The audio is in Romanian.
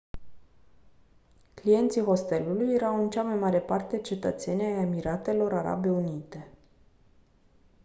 clienții hostelului erau în cea mai mare parte cetățeni ai emiratelor arabe unite